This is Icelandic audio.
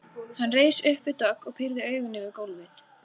Hann reis upp við dogg og pírði augun yfir gólfið.